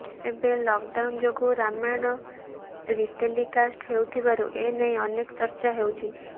ଏବେ ଲକଡାଉନ୍ ଯୋଗୁଁ ରାମାୟଣ ରିଟେଲିକାଷ୍ଟ ହେଉଥିବାରୁ ଏନେଇ ଅନେକ ଚର୍ଚ୍ଚା ହେଉଛି